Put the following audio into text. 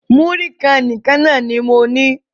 Múrí kan nìkan ní mo ní.